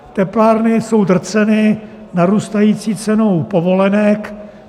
Teplárny jsou drceny narůstající cenou povolenek.